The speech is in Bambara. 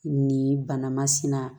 Nin banamasina